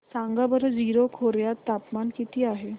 सांगा बरं जीरो खोर्यात तापमान किती आहे